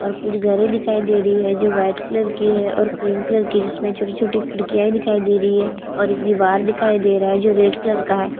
और घरें दिखाई दे रही है जो वाइट कलर की है और क्रीम कलर की है जिसमे छोटी-छोटी खड़कियाए दिखाई दे रही है और एक दिवार दिखाई दे रहा है जो रेड कलर का है।